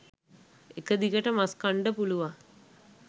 එක දිගට මස් කන්ඩ පුළුවන්